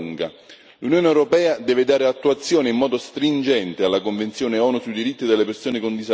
L'Unione europea deve dare attuazione in modo stringente alla Convenzione ONU sui diritti delle persone con disabilità.